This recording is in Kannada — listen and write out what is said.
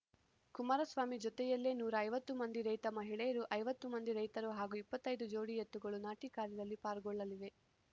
ಕುಮಾರಸ್ವಾಮಿ ಜೊತೆಯಲ್ಲೇ ನೂರ ಐವತ್ತು ಮಂದಿ ರೈತ ಮಹಿಳೆಯರು ಐವತ್ತು ಮಂದಿ ರೈತರು ಹಾಗೂ ಇಪ್ಪತ್ತೈ ದು ಜೋಡಿ ಎತ್ತುಗಳು ನಾಟಿ ಕಾರ್ಯದಲ್ಲಿ ಪಾಲ್ಗೊಳ್ಳಲಿವೆ ನೂರ